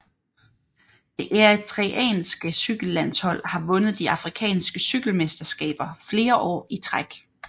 Det eritreanske cykellandshold har vundet de afrikanske cykelmesterskaber flere år i træk